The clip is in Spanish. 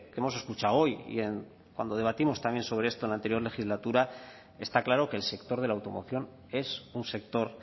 hemos escuchado hoy y cuando debatimos también sobre esto en la anterior legislatura está claro que el sector de la automoción es un sector